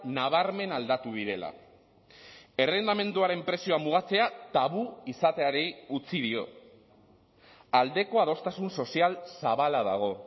nabarmen aldatu direla errentamenduaren prezioa mugatzea tabu izateari utzi dio aldeko adostasun sozial zabala dago